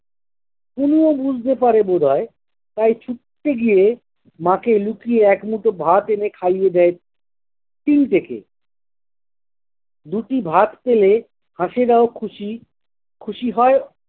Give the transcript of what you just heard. conio বুঝতে পারে বোধয়, তাই ছুটতে গিয়ে মাকে লুকিয়ে এক মুঠো ভাত এনে খাইয়ে দেয়, টিন থেকে দুটি ভাত পেলে হাঁসেরাও খুশি, খুশি হয়